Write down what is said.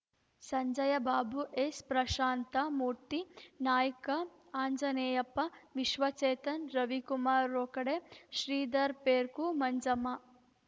Sanjay Babu ಎಸ್‌ಪ್ರಶಾಂತ Murthy Naik Anjaneyappa ವಿಶ್ವಚೇತನ್‌ Ravikumar ರೋಕಡೆ Sridhar ಪೆರ್ಕು Manjamma